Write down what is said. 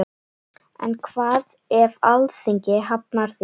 En hvað ef Alþingi hafnar því?